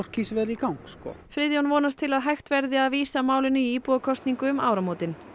kísilverið í gang Friðjón vonast til að hægt verði vísa málinu í íbúakosningu um áramótin